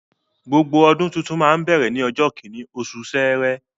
Gbogbo ọdún tuntun máa ń bẹ̀rẹ̀ ní ọjọ́ kíní, osù sẹrẹ